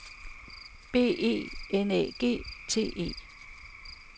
B E N Æ G T E